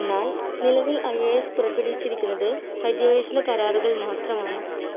എന്നാൽ നിലവിൽ IAS പുറപ്പെടുവിച്ചിരിക്കുന്നത് പര്യവേഷണ കരാറുകൾ മാത്രമാണ്.